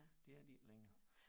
Det er de ikke længere